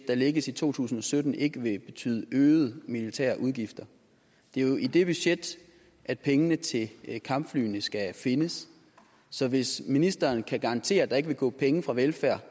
der lægges i to tusind og sytten ikke vil betyde øgede militærudgifter det er jo i det budget at pengene til kampflyene skal findes så hvis ministeren kan garantere at der ikke vil gå penge fra velfærd